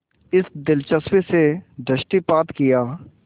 इस दिलचस्पी से दृष्टिपात किया